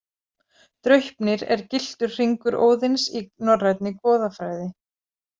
Draupnir er gylltur hringur Óðins í norrænni goðafræði.